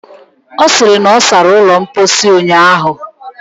Ọ sịrị na ọ sara ụlọ mposi ụnyaahụ.